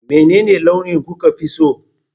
Menene launi kuka fi so?